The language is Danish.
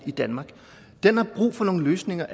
i danmark den har brug for nogle løsninger